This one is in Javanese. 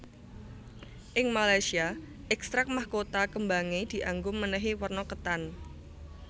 Ing Malaysia ekstrak mahkota kembangé dianggo mènèhi werna ketan